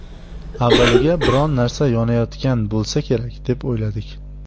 Avvaliga biron narsa yonayotgan bo‘lsa kerak, deb o‘yladik.